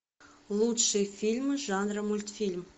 лучшие фильмы жанра мультфильм